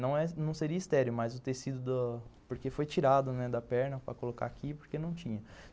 Não seria estéreo, mas o tecido do, porque foi tirado da perna para colocar aqui, porque não tinha.